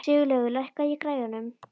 Sigurlaugur, lækkaðu í græjunum.